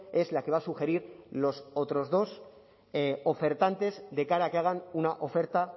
es la que va a sugerir los otros dos ofertantes de cara a que hagan una oferta